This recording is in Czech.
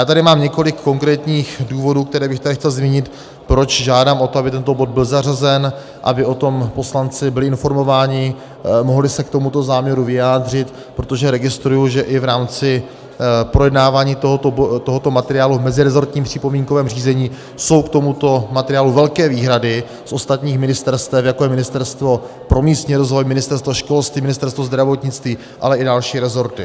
Já tady mám několik konkrétních důvodů, které bych tady chtěl zmínit, proč žádám o to, aby tento bod byl zařazen, aby o tom poslanci byli informováni, mohli se k tomuto záměru vyjádřit, protože registruji, že i v rámci projednávání tohoto materiálu v mezirezortním připomínkovém řízení jsou k tomuto materiálu velké výhrady z ostatních ministerstev, jako je Ministerstvo pro místní rozvoj, Ministerstvo školství, Ministerstvo zdravotnictví, ale i další rezorty.